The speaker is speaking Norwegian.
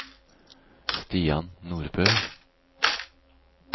Stian Nordbø